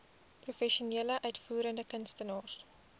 professionele uitvoerende kunstenaars